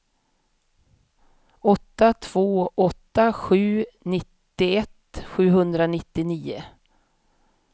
åtta två åtta sju nittioett sjuhundranittionio